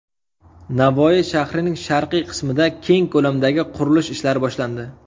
Navoiy shahrining sharqiy qismida keng ko‘lamdagi qurilish ishlari boshlandi.